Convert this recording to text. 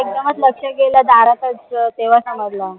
एकदमच लक्ष गेलं दरकडचं तेव्हा समाज